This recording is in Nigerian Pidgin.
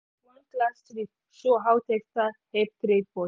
class trip show how textile help trade for.